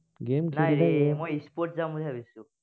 sports যাম বুলি ভাবিছো।